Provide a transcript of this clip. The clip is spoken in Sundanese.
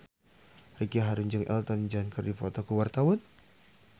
Ricky Harun jeung Elton John keur dipoto ku wartawan